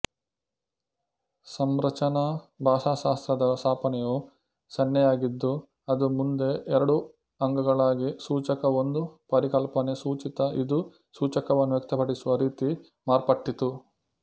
ಸಂರಚನಾ ಭಾಷಾಶಾಸ್ತ್ರದ ಸ್ಥಾಪನೆಯು ಸನ್ನೆಯಾಗಿದ್ದು ಅದು ಮುಂದೆ ಎರಡು ಅಂಗಗಳಾಗಿಸೂಚಕಒಂದು ಪರಿಕಲ್ಪನೆಸೂಚಿತಇದು ಸೂಚಕವನ್ನು ವ್ಯಕ್ತಪಡಿಸುವ ರೀತಿಮಾರ್ಪಟ್ಟಿತು